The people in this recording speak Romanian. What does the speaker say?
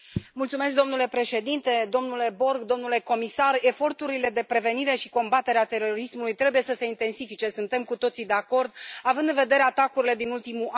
Domnule președinte, domnule Borg, domnule comisar, eforturile de prevenire și combatere a terorismului trebuie să se intensifice, suntem cu toții de acord, având în vedere atacurile din ultimul an.